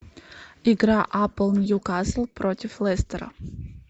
игра апл ньюкасл против лестера